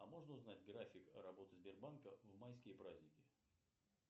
а можно узнать график работы сбербанка в майские праздники